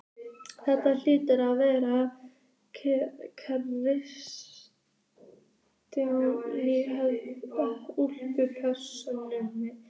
Þetta hlýtur að vera klassísk útvarpsstöð.